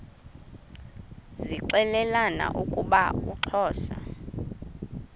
zixelelana ukuba uxhosa